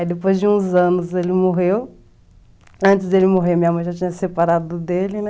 Aí depois de uns anos ele morreu, antes dele morrer minha mãe já tinha separado dele, né?